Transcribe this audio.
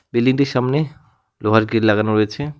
বিল্ডিংটির সামনে লোহার গেট লাগানো রয়েছে।